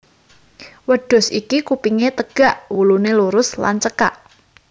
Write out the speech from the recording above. Wêdhus iki kupingé têgak wuluné lurus lan cêkak